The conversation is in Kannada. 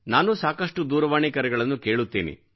ನಾನು ಸಾಕಷ್ಟು ದೂರವಾಣಿ ಕರೆಗಳನ್ನು ಕೇಳುತ್ತೇನೆ